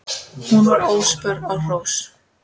Hún var óspör á hrós.